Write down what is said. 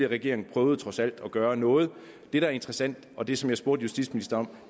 regering prøvede trods alt at gøre noget det der er interessant og det som jeg spurgte justitsministeren